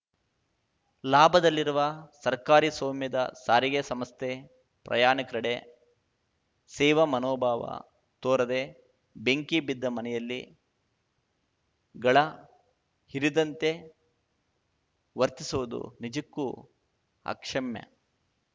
ಲಾಭದಲ್ಲಿರುವ ಸರ್ಕಾರಿ ಸ್ವಾಮ್ಯದ ಸಾರಿಗೆ ಸಂಸ್ಥೆ ಪ್ರಯಾಣಿಕರೆಡೆ ಸೇವಾ ಮನೋಭಾವ ತೋರದೆ ಬೆಂಕಿ ಬಿದ್ದ ಮನೆಯಲ್ಲಿ ಗಳ ಹಿರಿದಂತೆ ವರ್ತಿಸುವುದು ನಿಜಕ್ಕೂ ಅಕ್ಷಮ್ಯ